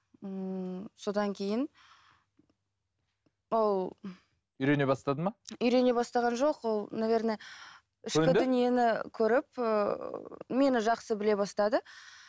ммм содан кейін ол үйрене бастады ма үйрене бастаған жоқ ол наверное ішкі дүниені көріп ііі мені жақсы біле бастады